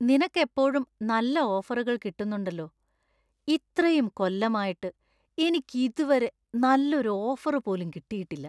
നിനക്ക് എപ്പോഴും നല്ല ഓഫറുകൾ കിട്ടുന്നുണ്ടല്ലോ; ഇത്രയും കൊല്ലമായിട്ട് എനിക്ക് ഇതുവരെ നല്ലൊരു ഓഫറുപോലും കിട്ടിയിട്ടില്ല.